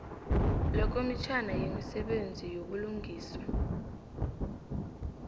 lekomitjhana yemisebenzi yobulungiswa